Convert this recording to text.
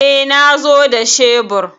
E, na zo da shebur.